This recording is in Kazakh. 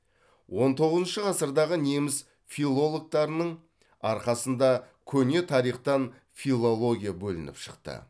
он тоғызыншы ғасырдағы неміс филологтарынын арқасында көне тарихтан филология бөлініп шықты